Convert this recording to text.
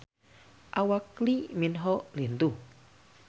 Awak Lee Min Ho lintuh